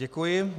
Děkuji.